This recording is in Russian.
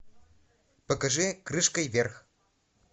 покажи крышкой вверх